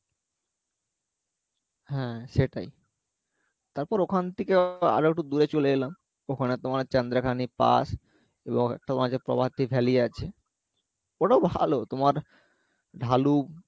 হ্যাঁ সেটাই তারপর ওখান থেকে আরো একটু দূরে চলে এলাম ওখানে তোমার চান্দ্রখানি pass প্রভাতী valley আছে ওটাও ভালো তোমার ঢালু